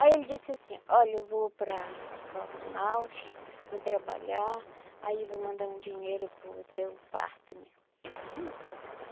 Aí ele disse assim, olha, eu vou para para Manaus, vou trabalhar, aí vou mandar um dinheiro para o teu parto, né?